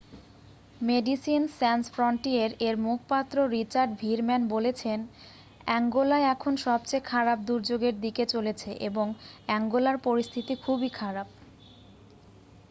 "Médecins Sans ফ্রন্টিয়ের-এর মুখপাত্র Richard Veerman বলেছেনঃ অ্যাঙ্গোলা এখন সবচেয়ে খারাপ দুর্যোগের দিকে চলেছে এবং অ্যাঙ্গোলার পরিস্থিতি খুবই খারাপ।""